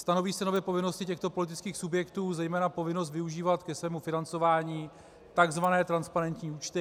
Stanoví se nově povinnosti těchto politických subjektů, zejména povinnost využívat ke svému financování tzv. transparentní účty.